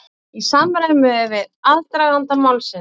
Í samræmi við aðdraganda málsins